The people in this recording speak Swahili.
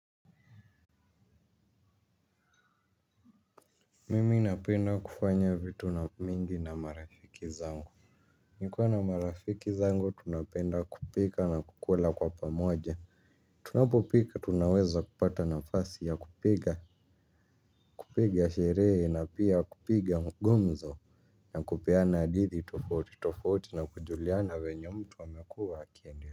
Mimi napenda kufanya vitu na mingi na marafiki zangu. Nikiwa na marafiki zangu tunapenda kupika na kukula kwa pamoja. Tunapopika tunaweza kupata nafasi ya kupiga, kupiga sherehe na pia kupiga ngumzo. Na kupeana hadithi, tofauti, tofauti na kujuliana ve nye mtu a mekuwa akiende.